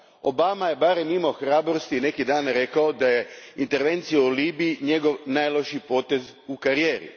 Obama je barem imao hrabrosti i neki dan rekao da je intervencija u Libiji njegov najlošiji potez u karijeri.